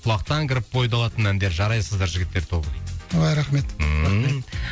құлақтан кіріп бойды алатын әндер жарайсыздар жігіттер тобы дейді ой рахмет ммм